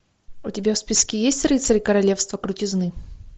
у тебя в списке есть рыцарь королевства крутизны